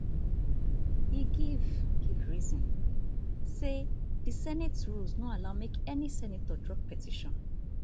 e give give reason say di senate rules no allow make any senator drop petition